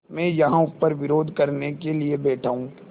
मैं यहाँ ऊपर विरोध करने के लिए बैठा हूँ